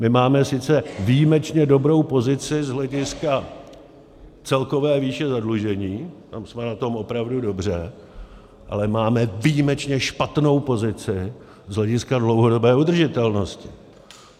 My máme sice výjimečně dobrou pozici z hlediska celkové výše zadlužení, tam jsme na tom opravdu dobře, ale máme výjimečně špatnou pozici z hlediska dlouhodobé udržitelnosti.